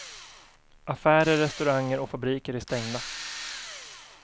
Affärer, restauranger och fabriker är stängda.